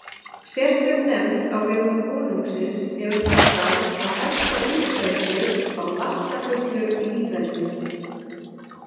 Sérstök nefnd á vegum konungsins hefur það starf að hefta útbreiðslu á lastafullu líferni.